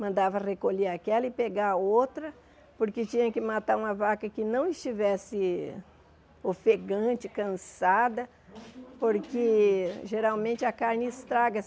Mandava recolher aquela e pegar outra, porque tinha que matar uma vaca que não estivesse ofegante, cansada, porque geralmente a carne estraga.